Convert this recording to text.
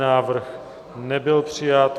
Návrh nebyl přijat.